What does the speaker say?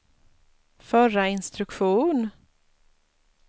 förra instruktion